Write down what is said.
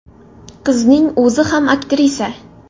Qizning o‘zi ham aktrisa.